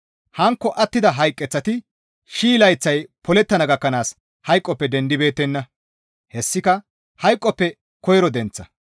Hankko attida hayqeththati shii layththay polettana gakkanaas hayqoppe dendibeettenna; hessika hayqoppe koyro denththa.